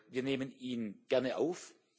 Wir nehmen ihn gerne auf.